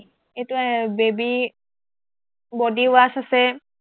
এইটো এৰ baby body wash আছে